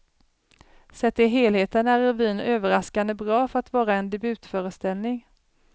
Sett till helheten är revyn överraskande bra för att vara en debutföreställning.